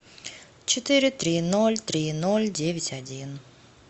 четыре три ноль три ноль девять один